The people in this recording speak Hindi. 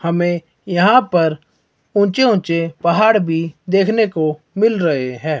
हमें यहां पर ऊंचे ऊंचे पहाड़ भी देखने को मिल रहे हैं।